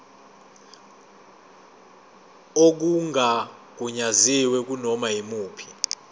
okungagunyaziwe kunoma yimuphi